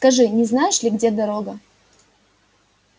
скажи не знаешь ли где дорога